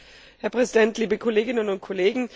Herr Präsident, liebe Kolleginnen und Kollegen!